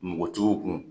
Npogotigiw kun